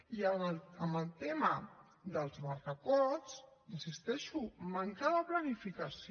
i en el tema dels barracots hi insisteixo manca de planificació